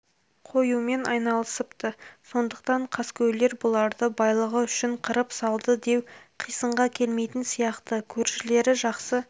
қоюмен айналысыпты сондықтан қаскөйлер бұларды байлығы үшін қырып салды деу қисынға келмейтін сияқты көршілері жақсы